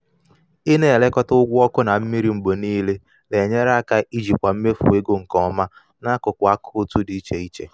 ị na-elekọta ụgwọ ọkụ na mmiri mgbe niile na-enyere aka ijikwa mmefu ego nke ọma n'akụkụ akaụntụ dị iche iche.